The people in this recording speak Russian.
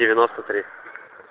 девяносто три